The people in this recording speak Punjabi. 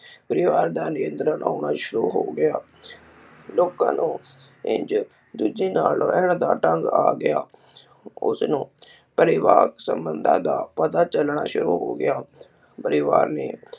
ਪਰਿਵਾਰ ਦਾ ਨਿਯੰਤਰਣ ਹੋਣਾ ਸ਼ੁਰੂ ਹੋਗਿਆ ਲੋਕਾਂ ਨੂੰ ਇਕ ਦੂਜੇ ਨਾਲ ਰਹਿਣ ਦਾ ਢੰਗ ਆ ਗਿਆ। ਉਸ ਨੂੰ ਪਰਿਵਾਰ ਸੰਬੰਧਾਂ ਦਾ ਪਤਾ ਚਲਣਾ ਸ਼ੁਰੂ ਹੋ ਗਿਆ। ਪਰਿਵਾਰ ਨੇ